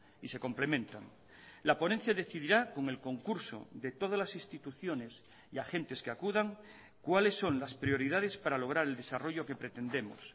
y se complementan la ponencia decidirá con el concurso de todas las instituciones y agentes que acudan cuales son las prioridades para lograr el desarrollo que pretendemos